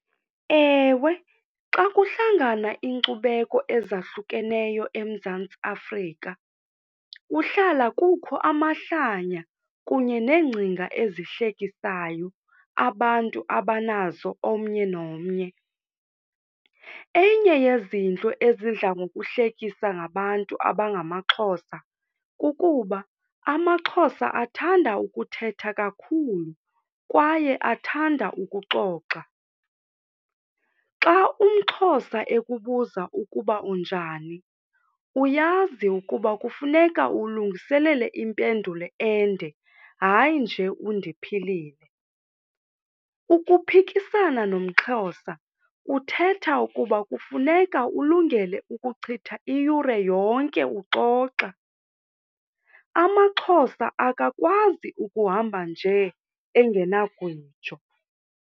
Ewe, xa kuhlangana iinkcubeko ezahlukeneyo eMzantsi Afrika kuhlala kukho amahlanya kunye neengcinga ezihlekisayo abantu abanazo omnye nomnye. Enye yezinto ezidla ngokuhlekisa ngabantu abangamaXhosa kukuba amaXhosa athanda ukuthetha kakhulu kwaye athanda ukuxoxa. Xa umXhosa ekubuza ukuba unjani, uyazi ukuba kufuneka ulungiselele impendulo ende, hayi nje undiphilile. Ukuphikisana nomXhosa kuthetha ukuba kufuneka ulungele ukuchitha iyure yonke uxoxa. AmaXhosa akakwazi ukuhamba nje engenagwijo.